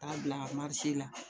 K'a bila la